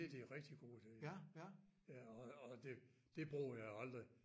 Det de rigtig godt til ja og og det det bruger jeg aldrig